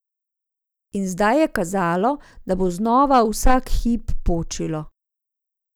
In zdaj je kazalo, da bo znova vsak hip počilo.